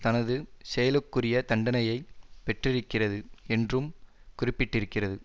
தனது செயலுக்குரிய தண்டனையை பெற்றிருக்கிறது என்றும் குறிப்பிட்டிருக்கிறது